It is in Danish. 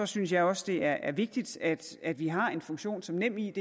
synes jeg også det er vigtigt at at vi har en funktion som nemid